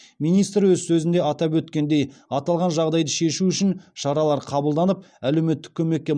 министр өз сөзінде атап өткендей аталған жағдайды шешу үшін шаралар қабылданып әлеуметтік көмекке